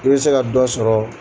I bɛ se ka dɔ sɔrɔ